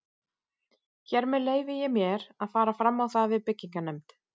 Hér með leyfi ég mér, að fara fram á það við byggingarnefnd